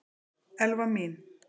Elfa mín!